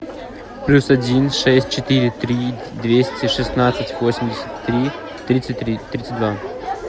плюс один шесть четыре три двести шестнадцать восемьдесят три тридцать три тридцать два